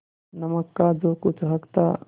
नमक का जो कुछ हक था